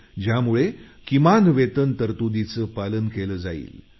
किमान ज्यामुळे वेतन तरतुदींचं पालन केलं जाईल